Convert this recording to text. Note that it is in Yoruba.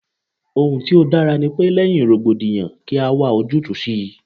Ohun tí ó dára ní pe, lẹ́yìn rògbòdìyàn kí a wá ojútùú sí i.